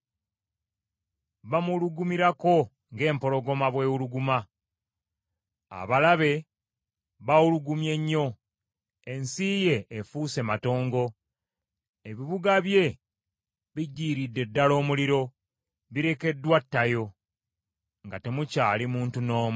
Bamuwulugumirako ng’empologoma bw’ewuluguma, abalabe bawulugumye nnyo. Ensi ye efuuse matongo, ebibuga bye bigyiridde ddala omuliro birekeddwa ttayo, nga temukyali muntu n’omu.